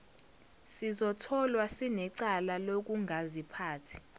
sizotholwa sinecala lokungaziphathi